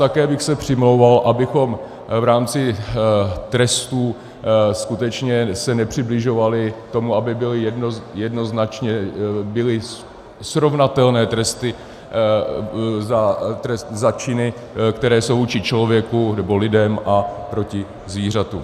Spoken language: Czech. Také bych se přimlouval, abychom v rámci trestů skutečně se nepřibližovali tomu, aby byly jednoznačně srovnatelné tresty na činy, které jsou vůči člověku nebo lidem, a proti zvířatům.